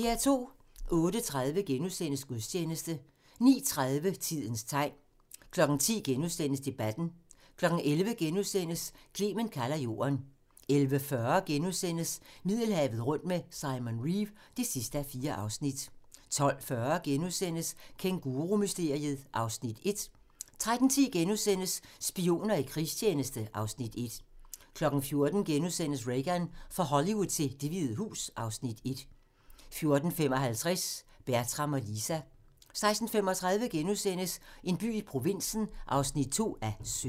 08:30: Gudstjeneste * 09:30: Tidens tegn 10:00: Debatten * 11:00: Clement kalder Jorden * 11:40: Middelhavet rundt med Simon Reeve (4:4)* 12:40: Kængurumysteriet (Afs. 1)* 13:10: Spioner i krigstjeneste (Afs. 1)* 14:00: Reagan - fra Hollywood til Det Hvide Hus (Afs. 1)* 14:55: Bertram og Lisa 16:35: En by i provinsen (2:17)*